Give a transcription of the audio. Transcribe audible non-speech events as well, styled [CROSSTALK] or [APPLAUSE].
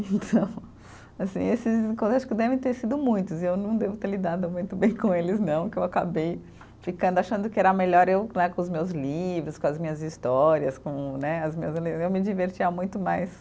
Então, [LAUGHS] assim esses [UNINTELLIGIBLE] acho que devem ter sido muitos, e eu não devo ter lidado muito bem com eles não, que eu acabei ficando, achando que era melhor eu né, com os meus livros, com as minhas histórias com né, as minhas, [UNINTELLIGIBLE] eu me divertia muito mais